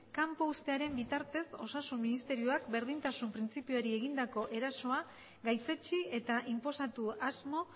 kanpo uztearen bitartez osasun ministerioak berdintasun printzipioari egindako erasoa gaitzetsi eta inposatu asmo